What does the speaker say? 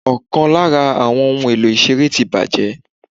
Ọ̀kan lára ohun èlò ìṣeré ti bàjẹ́.